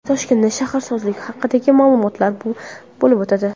Toshkentda shaharsozlik haqidagi ma’ruzalar bo‘lib o‘tadi.